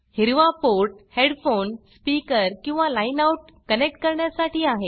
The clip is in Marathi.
हिरवा पोर्ट हेडफोन स्पीकरहेडफोन किंवा लाईन outलाइन आउटकनेक्ट करण्यासाठी आहे